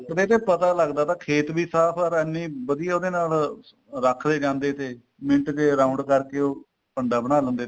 ਪਹਿਲਾਂ ਪਤਾ ਚਲਦਾ ਤਾ ਖੇਤ ਵੀ ਸਾਫ਼ or ਇੰਨੇ ਵਧੀਆ ਉਹਦੇ ਨਾਲ ਰੱਖ ਲਏ ਜਾਂਦੇ ਤੇ ਮਿੰਟ ਚ round ਕਰਕੇ ਉਹ ਪੰਡਾਂ ਬਣਾ ਦਿੰਦੇ ਤੇ